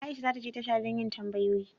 Aisha za ta je tasha don yin tambayoyi.